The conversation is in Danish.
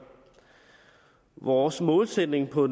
vores målsætning på